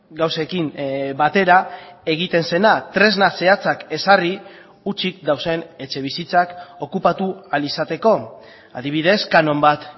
gauzekin batera egiten zena tresna zehatzak ezarri hutsik dauden etxebizitzak okupatu ahal izateko adibidez kanon bat